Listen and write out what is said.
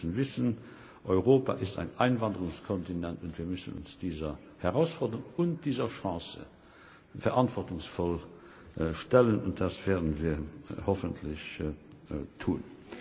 Aber wir müssen wissen, dass Europa ein Einwanderungskontinent ist, und wir müssen uns dieser Herausforderung und dieser Chance verantwortungsvoll stellen, und das werden wir hoffentlich tun.